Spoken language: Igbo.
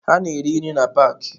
Ha na-ere nri na paaki.